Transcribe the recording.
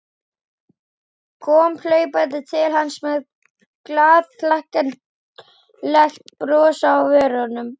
Kom hlaupandi til hans með glaðhlakkalegt bros á vörunum.